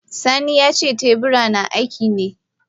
Sani yace teburin na akkine.